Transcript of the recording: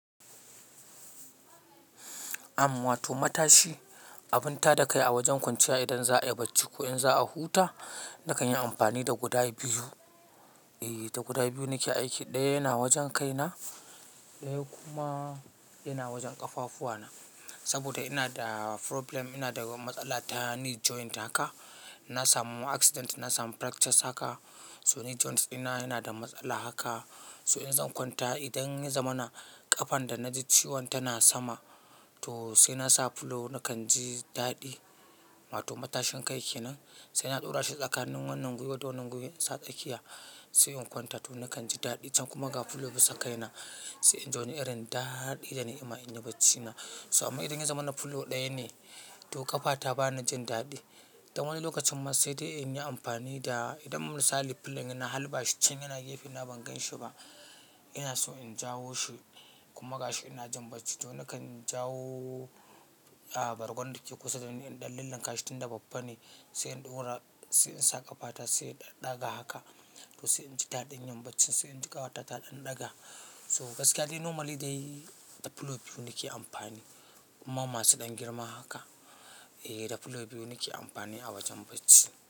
Am wa to matashi, abun tada kai a wajen kwanciya idan za'ayi bacci ko in za'a huta, nakan yi amfani da guda biyu, Ehh, da guda biyu nake aiki, ɗaya yana wajen kai na, ɗaya kuma yana wajen ƙafafuwa na. Saboda ina da problem, ina da matsala ta knee joint haka. Na samu accident, na samu fractures haka. So knee joints dina yana da matsala haka So in zan kwanta idan ya zama na ƙafan da na ji ciwon tana sama to sai na sa pillow, nakan ji daɗi. Wato matashin kai kenan, sai na ɗora shi tsakanin wannan gwiwa da wannan gwiwa, in sa tsakiya, sai in kwanta, to nakan ji daɗi. Can kuma ga pillow bisa kaina, sai in ji wani irin daɗi da ni'ima in yi bacci na, So amma idan ya zama na pillow ɗaya ne to ƙafa ta ba na jin daɗi. Dan wani lokacin ma sai dai in yi amfani da, idan misali pillow ya, na halba shi can yana gefe na ban ganshi ba, ina so in jawo shi, kuma ga shi ina jin bacci to nakan jawo ah bargon da ke kusa dani in lillinkashi tunda babba ne, sai in ɗora, sai in sa ƙafa ta, sai in ɗaga haka, to sai in ji daɗin yin baccin, sai in ji ƙafata ta ɗan ɗaga to gaskiya dai normally dai da pillow biyu nake amfani. Kuma masu ɗan girma haka, eh da pillow biyu nake amfani a wajen bacci.